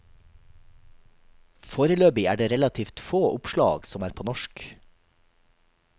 Foreløpig er det relativt få oppslag som er på norsk.